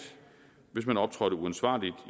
hvis man optrådte uansvarligt